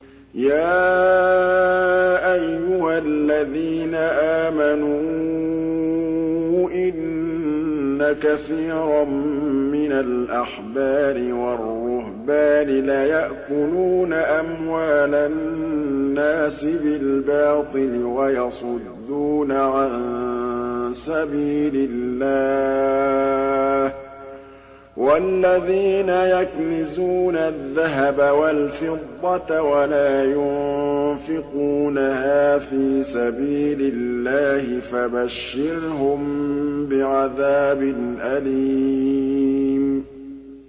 ۞ يَا أَيُّهَا الَّذِينَ آمَنُوا إِنَّ كَثِيرًا مِّنَ الْأَحْبَارِ وَالرُّهْبَانِ لَيَأْكُلُونَ أَمْوَالَ النَّاسِ بِالْبَاطِلِ وَيَصُدُّونَ عَن سَبِيلِ اللَّهِ ۗ وَالَّذِينَ يَكْنِزُونَ الذَّهَبَ وَالْفِضَّةَ وَلَا يُنفِقُونَهَا فِي سَبِيلِ اللَّهِ فَبَشِّرْهُم بِعَذَابٍ أَلِيمٍ